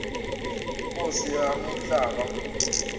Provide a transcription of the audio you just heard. nkosi yam umhlaba